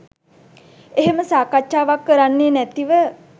එහෙම සාකච්ඡාවක් කරන්නේ නැතිව